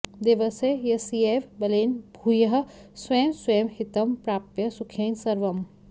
देवस्य यस्यैव बलेन भूयः स्वं स्वं हितं प्राप्य सुखेन सर्वम्